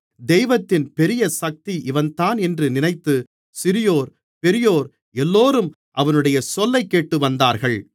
தெய்வத்தின் பெரிய சக்தி இவன்தான் என்று நினைத்து சிறியோர் பெரியோர் எல்லோரும் அவனுடைய சொல்லைக்கேட்டு வந்தார்கள்